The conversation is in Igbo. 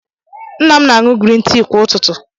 Nna m na-aṅụ grin tii kwa ụtụtụ.